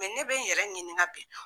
Mɛ ne bɛ n yɛrɛ ɲininka bi